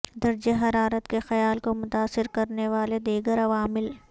درجہ حرارت کے خیال کو متاثر کرنے والے دیگر عوامل